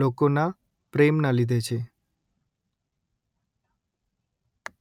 લોકોના પ્રેમના લીધે છે